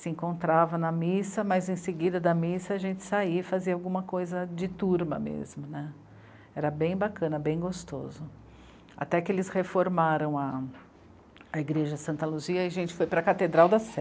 se encontrava na missa, mas em seguida da missa a gente saía e fazia alguma coisa de turma mesmo, né, era bem bacana, bem gostoso. Até que eles reformaram a... a igreja Santa Luzia e a gente foi para a Catedral da Sé